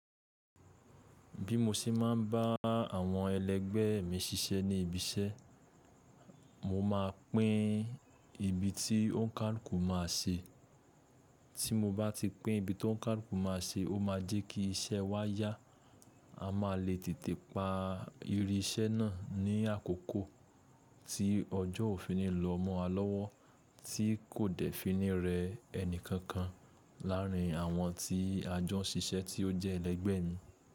Bí mo ṣe máa ń bá àwọn ẹlẹ́gbẹ́ mi ṣiṣẹ́ ní ibi iṣẹ́, mo máa pín ibi tí òǹkàlùkù ma ṣe. Tí mo bá ti pín ibi tó ǹkàlùkù ma ṣe, ó máa jẹ́ kí iṣẹ́ wa yá. A máa lè tètè pa iri iṣẹ́ náà ní àkókò tí ọjọ́ òfin nílò mọ́ a lọ́wọ́, tí kò dẹ́ finì rẹ ẹni kankan láàrín àwọn tí a jọ ṣiṣẹ́ tí ó jẹ́ ẹlẹ́gbẹ̀ẹ́ mi.